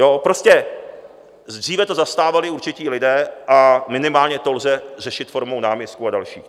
Jo, prostě dříve to zastávali určití lidé a minimálně to lze řešit formou náměstků a dalších.